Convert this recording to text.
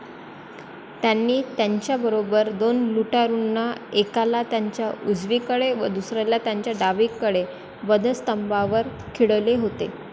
त्यांनी त्याच्याबरोबर दोन लुटारूंना एकाला त्याच्या उजविकडे व दुसऱ्याला त्याच्या डावीकडे वधस्तंभावर खिळले होते.